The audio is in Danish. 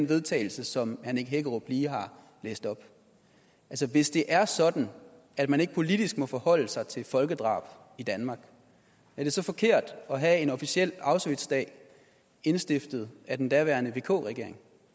vedtagelse som herre nick hækkerup lige har læst op hvis det er sådan at man ikke politisk må forholde sig til et folkedrab i danmark er det så forkert at have en officiel auschwitzdag indstiftet af den daværende vk regering